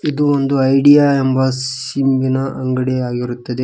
ಇದು ಒಂದು ಐಡಿಯಾ ಎಂಬ ಸಿಮ್ ಇನ ಅಂಗಡಿಯಗಿರುತ್ತದೆ.